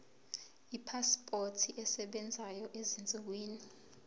ipasipoti esebenzayo ezinsukwini